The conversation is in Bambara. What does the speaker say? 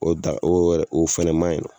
O da o yɛrɛ o fɛnɛ ma yen nɔ